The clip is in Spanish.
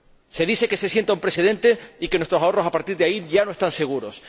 Se dice que se sienta un precedente y que nuestros ahorros a partir de ahora ya no están seguros.